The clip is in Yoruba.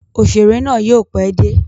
Òṣèrè náà yóò pẹ́ dé.